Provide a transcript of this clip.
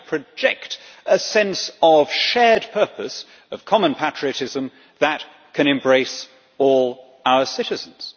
We have to project a sense of shared purpose, of common patriotism that can embrace all our citizens.